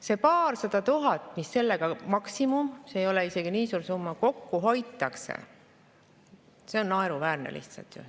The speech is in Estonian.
See paarsada tuhat, mis sellega – maksimum, see ei ole isegi nii suur summa – kokku hoitakse, on lihtsalt ju naeruväärne.